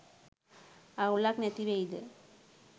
අවුලක් නැතිවෙයිද?